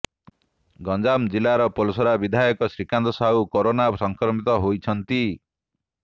ଗଞ୍ଜାମ ଜିଲ୍ଲାର ପୋଲସରା ବିଧାୟକ ଶ୍ରୀକାନ୍ତ ସାହୁ କୋରୋନା ସଂକ୍ରମିତ ହୋଇଛନ୍ତି